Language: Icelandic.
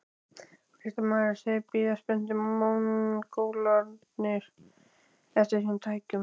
Fréttamaður: Þeir bíða spenntir, Mongólarnir eftir þessum tækjum?